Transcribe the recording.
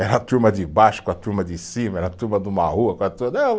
Era a turma de baixo com a turma de cima, era a turma de uma rua com a turma de